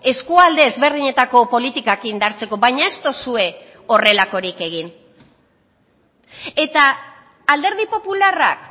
eskualde ezberdinetako politikak indartzeko baina ez duzue horrelakorik egin eta alderdi popularrak